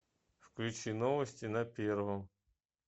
включи новости на первом